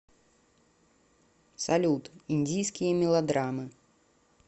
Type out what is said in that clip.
салют индийские мелодраммы